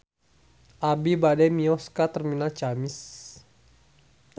Abi bade mios ka Terminal Ciamis